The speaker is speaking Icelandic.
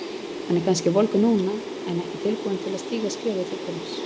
Hann er kannski volgur núna en ekki tilbúinn til að stíga skrefið til fulls.